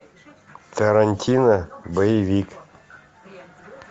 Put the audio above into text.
тарантино боевик